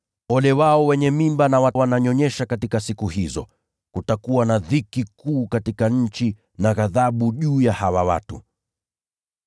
Ole wao wenye mimba na wale wanaonyonyesha watoto siku hizo! Kutakuwa na dhiki kuu katika nchi na ghadhabu juu ya hawa watu.